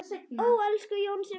Ó, elsku Jónsi minn.